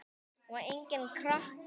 Og enginn krakki!